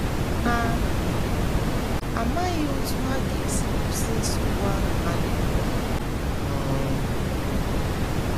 Ha amaghị otú ha ga - esi kwụsị nsogbu ahụ ha na - enwe. um